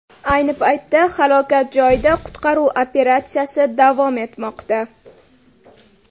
Ayni paytda halokat joyida qutqaruv operatsiyasi davom etmoqda.